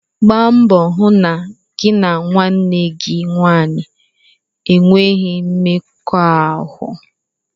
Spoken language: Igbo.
Gba mbọ hụ na gị na nwanne gị nwanyị enweghị mmekọahụ!